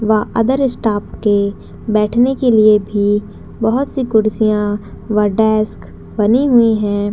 व other staff के बैठने के लिए भी बहुत सी कुर्सियां व डेस्क बनी हुई है।